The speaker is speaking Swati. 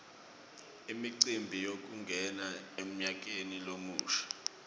imicimbi yekungena emnyakeni lomusha